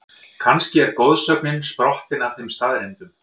Kannski er goðsögnin sprottin af þeim staðreyndum?